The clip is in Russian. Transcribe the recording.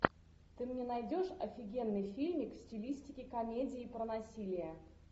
ты мне найдешь офигенный фильмик в стилистике комедии про насилие